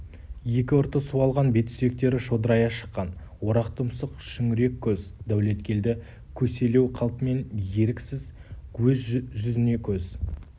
екі ұрты суалған бет сүйектері шодырая шыққан орақ тұмсық шүңірек көз дәулеткелді көселеу қалпымен еріксіз өз жүзіне көз